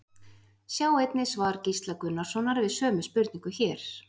Sjá einnig svar Gísla Gunnarssonar við sömu spurningu, hér.